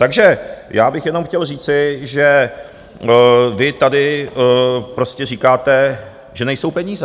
Takže já bych jenom chtěl říci, že vy tady prostě říkáte, že nejsou peníze.